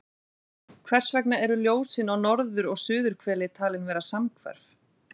Hvers vegna eru ljósin á norður- og suðurhveli talin vera samhverf?